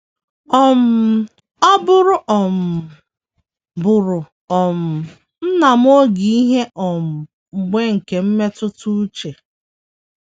um Ọ bụụrụ um bụụrụ um nna m oge ihe um mgbu nke mmetụta uche.